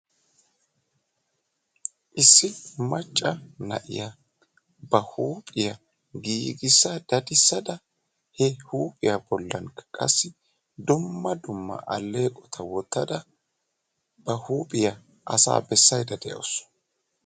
Issi macca na'iya ba huuphiya giigissa dadissada he huuphiya bollankka qassi dumma dumma alleeqota wottada ba huupiya asaa bessaydda de'awsu.